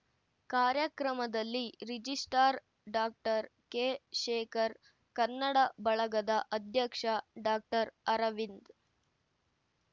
ಕಾರ್ಯಕ್ರಮದಲ್ಲಿ ರಿಜಿಸ್ಟ್ರಾರ್‌ ಡಾಕೆಶೇಖರ್‌ ಕನ್ನಡ ಬಳಗದ ಅಧ್ಯಕ್ಷ ಡಾಕ್ಟರ್ ಅರವಿಂದ್‌